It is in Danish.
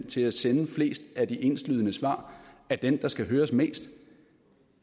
til at sende flest af de enslydende svar er den der skal høres mest